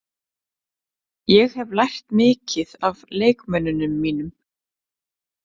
Ég hef lært mikið af leikmönnunum mínum.